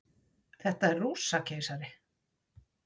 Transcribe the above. Þetta er Rússakeisari.